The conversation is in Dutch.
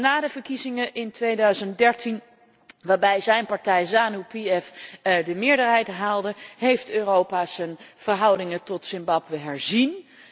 Na de verkiezingen in 2013 waarbij zijn partij Zanu PF de meerderheid haalde, heeft Europa zijn verhouding tot Zimbabwe herzien.